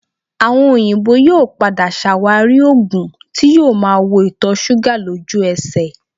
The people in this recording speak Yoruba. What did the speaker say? Àwọn òyìnbó yóò padà ṣàwárí oògùn tí yóò máa wo ìtọ̀ṣúgà lójú ẹsẹ̀